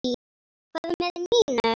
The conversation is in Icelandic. Hvað með Nínu?